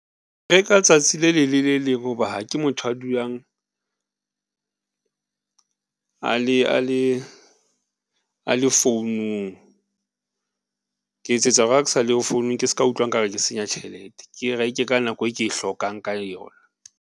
Ke reka tsatsi le leng le le leng hoba ha ke motho a dulang a le founung ke etse tsa hore ha ke sa le yo founung, ke s'ka utlwa nkare ke senya tjhelete, ke e reke ka nako e ke e hlokang ka yona.